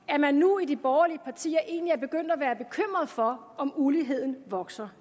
at man nu i de borgerlige partier egentlig er begyndt at være bekymret for om uligheden vokser